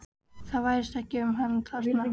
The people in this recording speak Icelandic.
Það væsir ekki um hann þarna.